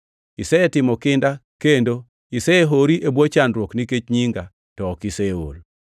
Isetimo kinda kendo isehori e bwo chandruok nikech nyinga, to ok iseol.